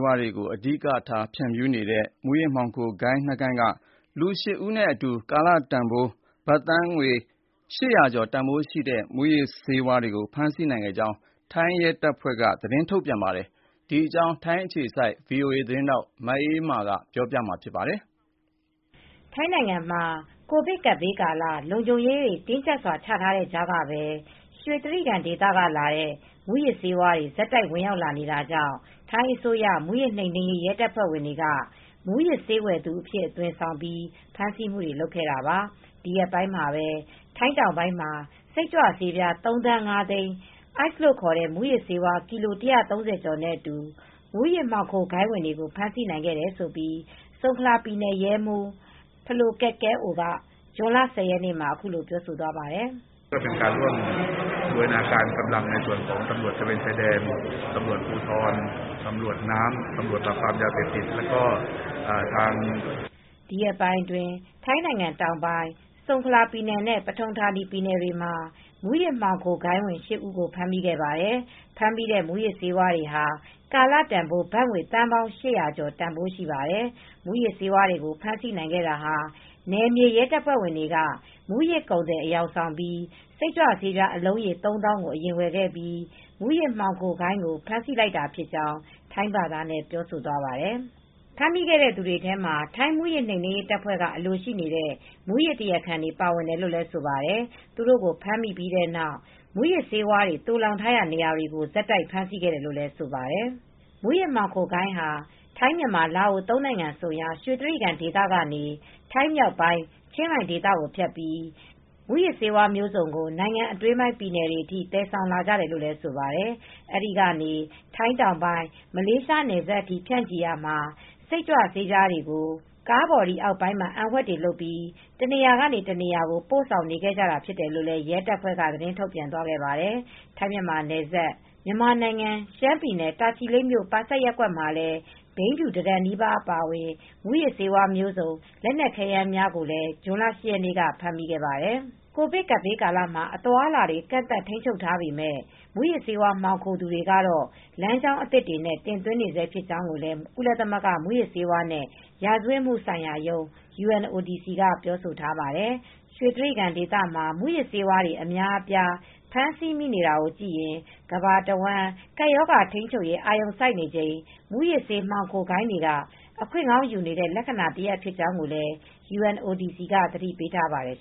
ဝါးတွေကို အဓိက ဖြန့်ဖြူးနေတဲ့ မူးယစ်မှောင်ခို ဂိုဏ်းနှစ်ဂိုဏ်းက လူ၈ဦးနဲ့ ကာလတန်ဖိုးဘတ်ငွေ သန်း ၈၀၀ကျော် တန်ဖိုးရှိတဲ့မူးယစ်ဆေးဝါးတွေကိုဖမ်းဆီးနိုင်ခဲ့ကြောင်း ထိုင်းရဲတပ်ဖွဲ့က ဇွန်လ ၁၀ရက်နေ့ က သတင်းထုတ်ပြန်ခဲ့ပါတယ်။ ဒီသတင်းကိုဗွီအိုအေသတင်းထောက်မအေးအေးမာက ပြောပြပေးမှာပါ။ ထိုင်းနိုင်ငံမှာ ကိုဗစ်ကပ်ဘေးကာလ လုံခြုံရေးတင်းကျပ်စွာချထားတဲ့ကြားက ပဲ ရွှေတြိဂံဒေသကလာတဲ့ မူးယစ်ဆေးတွေဆက်တိုက်ဝင်ရောက်လာနေတာကြောင့် ထိုင်းအစိုးရ မူးယစ်နိမ်နင်း ရေး ရဲတပ်ဖွဲ့ဝင်တွေက မူးယစ်ဆေးဝယ်သူအဖြစ်အသွင်ဆောင်ပြီး ဖမ်းဆီးမူတွေလုပ်ခဲ့တာပါ ဒီရက်ပိုင်းမှာပဲ ထိုင်းတောင်ပိုင်းမှာ စိတ်ကြွဆေး ပြား သုံးသန်းငါးသိန် း အိုက်စ်လို့ခေါ်တဲ့မူးယစ်ဆေးကီလို ၁၃၀ကျော် အတူ မူးယစ်မှောင်ခိုဂိုဏ်းဝင်တွေကို ဖမ်းဆီးနိုင်ခဲ့တယ်လို့ ဆုန်ခလာ ပြည်နယ် ရဲမှူး Phalo Ket Kaew ဖလို ကက် ကဲ့အိုက ဇွန်လ ၁၀ရက်နေ့မှာအခုလိုပြောသွားပါတယ်။ "ဒီရက်ပိုင်းအတွင်း ထိုင်းနိုင်ငံ တောင်ပိုင်းဆုန်ခလာ ပြည်နယ်နဲ့ပထုံ ဌာနီ ပြည်နယ်တွေမှာ မူးယစ်မှောင်ခို ဂိုဏ်းဝင် (၈) ဦးကို ဖမ်းမိခဲ့ပါတယ်။ ဖမ်းမိတဲ့မူးယစ်ဆေးဝါးတွေကကာလတန်ဖိုး ဘတ်ငွေ သန်း ပေါင်း ၈၀၀ကျော် တန်ဖိုး ရှိ ပါတယ်။ မူးယစ်ဆေးဝါး တွေကို ဖမ်းဆီးနိုင်ခဲ့တာဟာ နယ်မြေရဲတပ်ဖွဲ့ဝင်တွေက မူးယစ်ကုန်သည်အယောင်ဆောင်ပြီး စိတ်ကြွဆေးအလုံးရေ သုံးသောင်းကို အရင်ဝယ်ခဲ့ပြီး မူယစ်မှောင်ခိုဂိုဏ်းကို ဖမ်းဆီးလိုက်တာဖြစ်ကြောင်း" ထိုင်းဘာသာနဲ့ ပြောဆိုသွားပါတယ်။ ဖမ်းမိခဲ့တဲ့ သူတွေထဲမှာ ထိုင်းမူးယစ်နှိမ်နင်းရေးတပ်ဖွဲ့က အလိုရှိနေတဲ့ မူးယစ်တရားခံ တွေပါဝင်တယ်လို့လည်းဆိုပါတယ် သူတို့ကိုဖမ်းမိပြီးတဲ့နောက် မူးယစ်ဆေးဝါးတွေသိုလှောင်ထားရာနေရာတွေကို ဆက်တိုက်ဖမ်းဆီးခဲ့တယ်လို့ဆိုပါတယ်။ မူးယစ်မှောင်ခိုဂိုဏ်းဟာ ထိုင်းမြန်မာ-လာအို (၃) နိုင်ငံဆုံရာ ရွှေတြိဂံဒေသကနေ ထိုင်း မြောက်ပိုင်း ချင်းရိုင် ဒေသကိုဖြတ်ပြီး မူးယစ်ဆေးဝါးမျိုးစုံကို နိုင်ငံအတွင်းပိုင်း ပြည်နယ်တွေအထိ သယ်ဆောင်လာကြတယ်လို့ လည်းဆိုပါတယ်။ အဲဒီကနေ ထိုင်း တောင်းပိုင်း မလေးရှားနယ်စပ်အထိ မှာ ဖြန့်ချီခဲ့ရာ စိတ်ကြွဆေးတွေကို ကားဘော်ဒီ အောက်ပိုင်းမှာ အံဝှက်တွေ လုပ် ပြီး တနေရ ာကနေ တနေရာကို ပို့ဆောင်နေကြတာဖြစ်တယ်လို့ ရဲတပ်ဖွဲ့က သတင်းထုတ်ပြန်သွားခဲ့ပါတယ်။ ထိုင်း- မြန်မာနယ်စပ် မြန်မာနိုင်ငံရှမ်းပြည် တာချီလိပ်မြို့ပါဆတ်ရပ်ကွက်မှာ ဘိန်းဖြူ (၁) တန်နီးပါးအပါအဝင် မူးယစ်ဆေးဝါးမျိုးစုံ လက်နက်ခဲယမ်းများကို ဇွန်လ ၈ ရက်နေ့ကပဲ ဖမ်းမိခဲ့ပါတယ်။ ကိုဗစ်ကပ်ဘေးကာလမှာ အသွားအလာတွေ ကန့်သတ်ထိန်းချုပ်ထားပေမဲ့ မူးယစ်ဆေးဝါး မှောင်ခိုသူတွေကတော့ လမ်းကြောင်းသစ်တွေနဲ့ တင်သွင်းနေဆဲဖြစ်ကြောင်းလည်း ကုလသမဂ္ဂ မူးယစ်ဆေးဝါးနဲ့ ရာဇဝတ်မှုဆိုင်ရာရုံး (UNODC) က ပြောဆိုထားပါတယ်။ ရွှေတြိဂံဒေသမှာ မူးယစ်ဆေးတွေ အများအပြား ဖမ်းဆီးမိနေတာကိုကြည့်ရင် ကမ္ဘာတဝန်း ကပ်ရောဂါထိန်းချုပ်ရေး အာရုံစိုက်နေချိန် မူးယစ်ဆေးမှောင်ခိုဂိုဏ်းတွေက အခွင့်ကောင်းယူနေတဲ့ လက္ခဏာတရပ် ဖြစ်ကြောင်းလည်း UNODC က သတိပေးထားပါတယ်